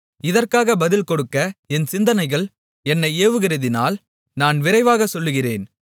இதற்காக பதில் கொடுக்க என் சிந்தனைகள் என்னை ஏவுகிறதினால் நான் விரைவாகச் சொல்லுகிறேன்